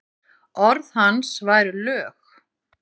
Orð hans væru lög.